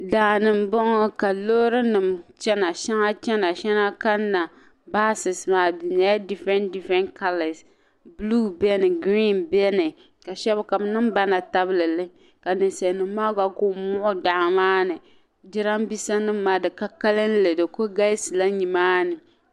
Daani n bɔŋɔ ka loorinima chana shɛŋa chana shɛŋa kanna "buses" maa di nyɛla "different colour " blue beni green beni ka shab ka bi niŋ bana tabili ka ninsalinima maa ku muɣi daa maa ninjiramiinsanim maa di ka kalinli di ku galisila nimaani.